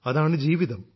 അതാണ് ജീവിതം